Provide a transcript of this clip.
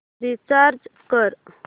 recharge कर